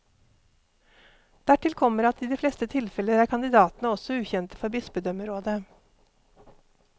Dertil kommer at i de fleste tilfeller er kandidatene også ukjente for bispedømmerådet.